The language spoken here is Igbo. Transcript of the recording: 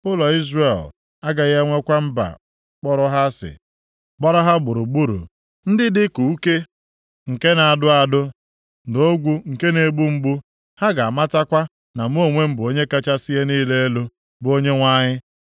“ ‘Ụlọ Izrel agaghị enwekwa mba kpọrọ ha asị gbara ha gburugburu ndị dịka uke, nke na-adụ adụ, na ogwu nke na-egbu mgbu. Ha ga-amatakwa na mụ onwe m bụ Onye kachasị ihe niile elu, bụ Onyenwe anyị.